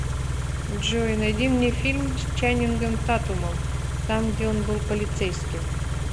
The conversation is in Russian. джой найди мне фильм с чанингом татумом там где он был полицейским